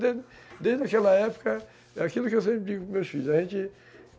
Desde aquela época, é aquilo que eu sempre digo para os meus filhos, a gente